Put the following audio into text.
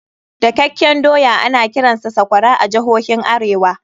Dakakken doya ana kiransa sakwara a jihohin arewa.